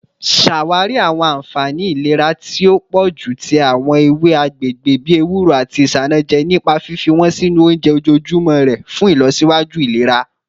Ṣawari awọn anfani ilera ti o pọju ti awọn ewe agbegbe bi ewuro ati isanaje nipa fifi wọn sinu ounjẹ ojoojumọ rẹ fun ilọsiwaju ilera